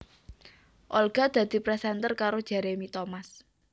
Olga dadi presenter karo Jeremy Thomas